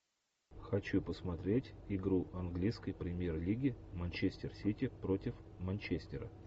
хочу посмотреть игру английской премьер лиги манчестер сити против манчестера